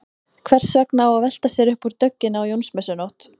Hvers vegna á að velta sér upp úr dögginni á Jónsmessunótt?